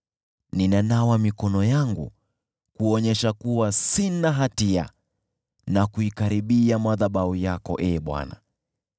Ninanawa mikono yangu kwa kuwa sina hatia, naikaribia madhabahu yako, Ee Bwana ,